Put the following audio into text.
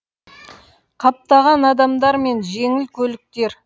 қаптаған адамдар мен жеңіл көліктер